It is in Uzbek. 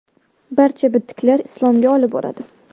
Barcha bitiklar Islomga olib boradi.